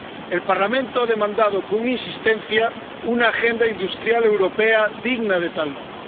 El Parlamento ha demandado con insistencia una agenda industrial europea digna de tal nombre.